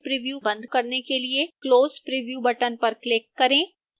preview बंद करने के लिए close preview button पर click करें